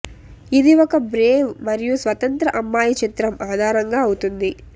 ఇది ఒక బ్రేవ్ మరియు స్వతంత్ర అమ్మాయి చిత్రం ఆధారంగా అవుతుంది